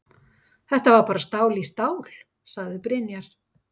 Þetta var bara stál í stál, sagði Brynjar.